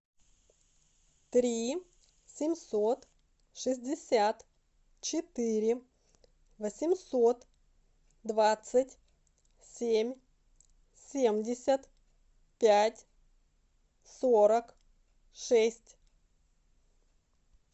три семьсот шестьдесят четыре восемьсот двадцать семь семьдесят пять сорок шесть